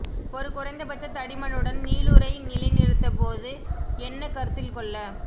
ஒரு குறைந்தபட்ச தடிமனுடன் நீளுரை நிலைநிறுத்த போது என்ன கருத்தில் கொள்ள